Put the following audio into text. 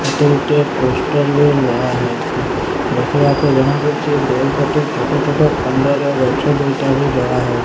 ଏଠି ଗୋଟେ ପୋଷ୍ଟର୍ ବି ମରାହେଇଚି ଦେଖିବାରୁ ଜଣାପଡୁଚି ସୁନ୍ଦର ଗଛ ଦୁଇଟା ବି ଧରାହୋଇ --